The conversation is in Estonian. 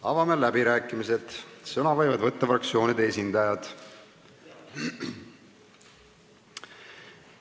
Avame läbirääkimised, sõna võivad võtta fraktsioonide esindajad.